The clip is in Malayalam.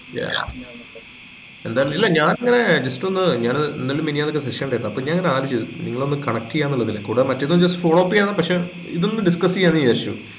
yeah എന്തായിരുന്നു ഇല്ല ഞാൻ ഇങ്ങനെ just ഒന്ന് ഞാൻ ഇന്നലെയും മിനിഞ്ഞാന്നു ഒരു session ലായിരുന്നു അപ്പൊ ഞാൻ ഇങ്ങനെ ആലോചിച്ചു നിങ്ങളെ ഒന്ന് connect ചെയ്യാനുള്ളതിലെ കൂടാതെ മറ്റേതും just follow up ചെയ്യാം പക്ഷെ ഇതൊന്നു discuss ചെയ്യാംന്ന് വിചാരിച്ചു